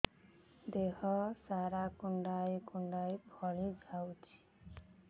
ଦେହ ସାରା କୁଣ୍ଡାଇ କୁଣ୍ଡାଇ ଫଳି ଯାଉଛି